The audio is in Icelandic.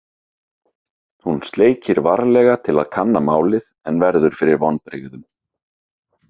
Hún sleikir varlega til að kanna málið en verður fyrir vonbrigðum.